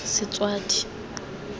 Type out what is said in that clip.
setswadi